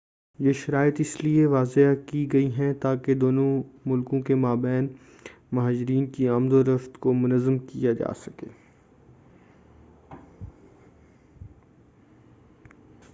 یہ شرائط اس لئے وضع کی گئی ہیں تاکہ دونوں ملکوں کے مابین مہاجرین کی آمد و رفت کو منظم کیا جا سکے